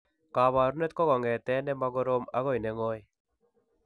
Kabarunet ko kongeten ne ma korom agoi ne ngoy.